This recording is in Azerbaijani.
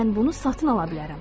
Mən bunu satın ala bilərəm.